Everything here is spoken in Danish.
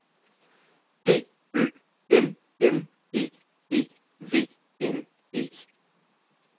D Ø M M E E V N E